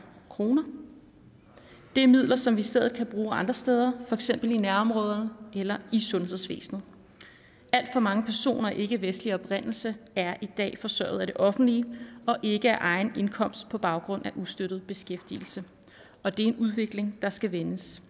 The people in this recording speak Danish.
kroner er midler som vi i stedet kan bruge andre steder eksempel i nærområderne eller i sundhedsvæsnet alt for mange personer af ikkevestlig oprindelse er i dag forsørget af det offentlige og ikke af egen indkomst på baggrund af ustøttet beskæftigelse og det er en udvikling der skal vendes